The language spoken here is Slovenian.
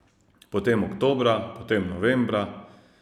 Potem oktobra, potem novembra ...